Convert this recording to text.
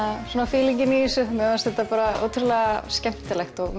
fílingin í þessu mér fannst þetta ótrúlegt skemmtilegt og